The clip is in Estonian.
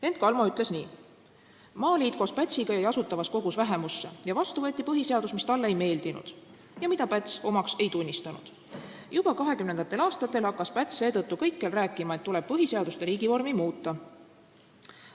Hent Kalmo rääkis, et Maaliit koos Pätsiga jäi Asutavas Kogus vähemusse ja vastu võeti põhiseadus, mis talle ei meeldinud ja mida Päts omaks ei tunnistanud, ning juba 1920. aastatel hakkas Päts seetõttu kõikjal rääkima, et tuleb põhiseadust ja riigivormi muuta.